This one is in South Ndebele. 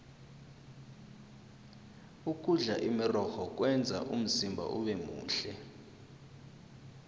ukudla imirorho kwenza umzimba ubemuhle